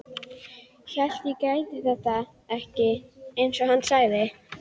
Hann réði sér ekki fyrir kæti og iðaði í skinninu.